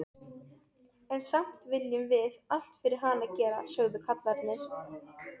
En samt viljum við allt fyrir hana gera, sögðu kallarnir.